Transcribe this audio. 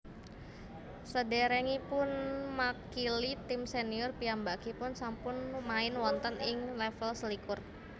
Sadèrèngipunmakili tim sènior piyambakipun sampun main wonten ing lèvel selikur